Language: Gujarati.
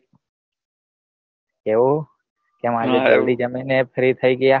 એવું? તમારા તમે ફ્રી થઇ ગયા.